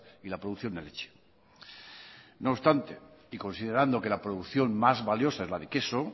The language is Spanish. y la producción de leche no obstante y considerando que la producción más valiosa es la de queso